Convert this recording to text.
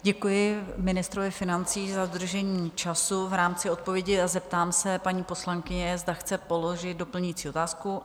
Děkuji ministrovi financí za dodržení času v rámci odpovědi a zeptám se paní poslankyně, zda chce položit doplňující otázku.